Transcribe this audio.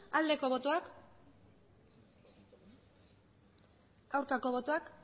aldeko botoak aurkako botoak